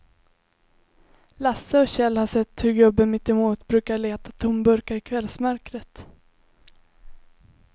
Lasse och Kjell har sett hur gubben mittemot brukar leta tomburkar i kvällsmörkret.